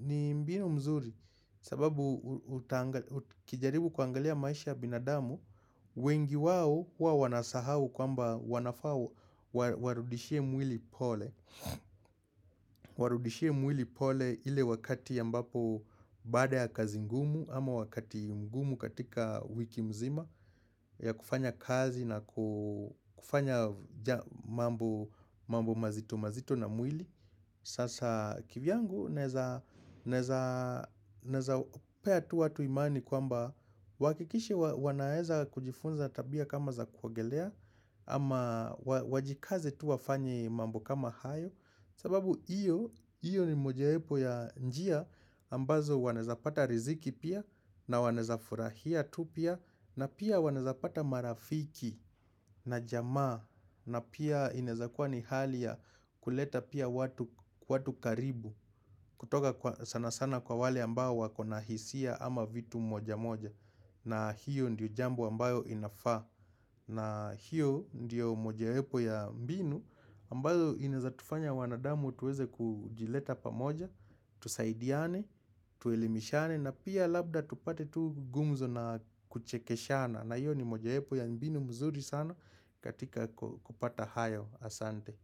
ni mbinu mzuri. Sababu ukijaribu kuangalia maisha ya binadamu wengi wao huwa wanasahau kwamba wanafaa Warudishie mwili pole Warudishie mwili pole ile wakati ya mbapo Baada ya kazi ngumu ama wakati mgumu katika wiki mzima ya kufanya kazi na kufanya mambo mazito mazito na mwili Sasa kivyangu naeza pea tu watu imani kwamba waakikishe wanaeza kujifunza tabia kama za kuogelea ama wajikaze tu wafanye mambo kama hayo sababu iyo ni mojawepo ya njia ambazo wanaeza pata riziki pia na wanaeza furahia tu pia na pia wanaeza pata marafiki na jamaa na pia inaezakua ni hali ya kuleta pia watu karibu kutoka sana sana kwa wale ambao wakona hisia ama vitu moja moja na hiyo ndiyo jambo ambayo inafaa na hiyo ndiyo mojawepo ya mbinu ambazo inaezatufanya wanadamu tuweze kujileta pamoja Tusaidiane, tuelimishane na pia labda tupate tu gumzo na kuchekeshana na hiyo ni moja wepo ya mbinu mzuri sana katika kupata hayo asante.